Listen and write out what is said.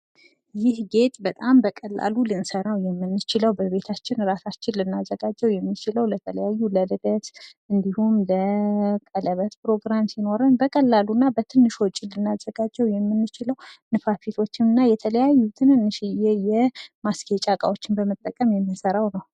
ይህ ጌጥ በጣም በቀላሉ ልንሰራው የምንችለው በቤታችን ራሳችን ልናዘጋጀው የምንችለው ለተለያዩ ዝግጅቶች እንዲሁም የቀለበት ፕሮግራም ሲኖረን በቀላሉ እና በትንሹ ወጭ ልናዘጋጀው የምንችለው ንፋፊቶችን እና የተለያዩ ትንንሽየ የማስጌጫ እቃዎችን በመጠቀም የምንሰራው ነው።